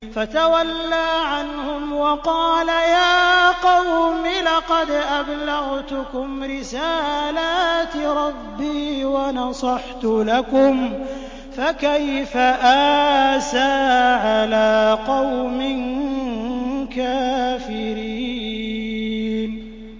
فَتَوَلَّىٰ عَنْهُمْ وَقَالَ يَا قَوْمِ لَقَدْ أَبْلَغْتُكُمْ رِسَالَاتِ رَبِّي وَنَصَحْتُ لَكُمْ ۖ فَكَيْفَ آسَىٰ عَلَىٰ قَوْمٍ كَافِرِينَ